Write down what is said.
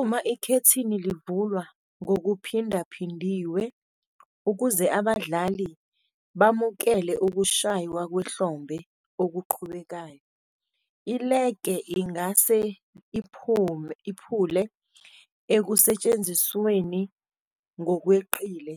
Uma ikhethini livulwa ngokuphindaphindiwe ukuze abadlali bamukele ukushaywa kwehlombe okuqhubekayo, i-legge ingase "iphule" ekusetshenzisweni ngokweqile,